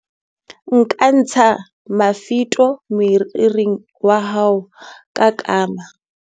nka ntsha mafito moriring wa hao ka kama